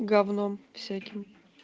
гавно всяким